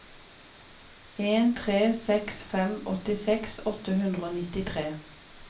en tre seks fem åttiseks åtte hundre og nittitre